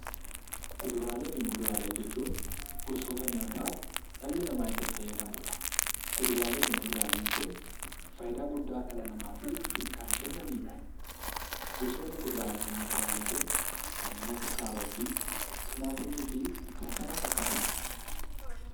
Kuduraalee fi muduraalee jechuun gosoota nyaataa dhalli namaa itti fayyadamuudha. Kuduraalee fi muduraaleen kun faayidaa guddaa dhala namaatiif kan kennaniidha. Fakkeenyaaf kuduraaleen kun kanneen akka kaarootii, Timaatimii fi kan kana fakkaataniidha.